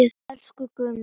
Elsku Gummi.